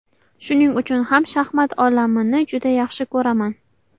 Shuning uchun ham shaxmat olamini juda yaxshi ko‘raman.